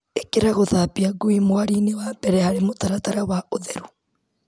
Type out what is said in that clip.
ĩkĩra gũthambia ngui mũharinĩ wa mbere harĩ mũtaratara wa ũtheru.